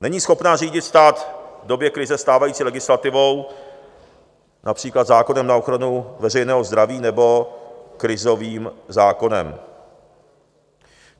Není schopna řídit stát v době krize stávající legislativou, například zákonem na ochranu veřejného zdraví nebo krizovým zákonem.